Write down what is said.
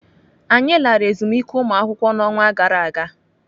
Anyị lara ezumike ụlọakwụkwọ n'ọnwa gara aga.